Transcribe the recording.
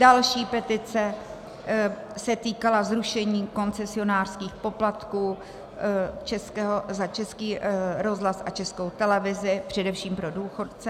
Další petice se týkala zrušení koncesionářských poplatků za Český rozhlas a Českou televizi, především pro důchodce.